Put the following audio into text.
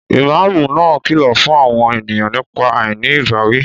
Ìmáàmù náà kìlọ̀ fún àwọn ènìyàn nípa àìní ìbáwí